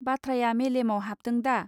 बाथ्राया मेलेमाव हाबदोंदा